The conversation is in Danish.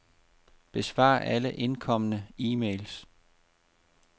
Besvar alle indkomne e-mails.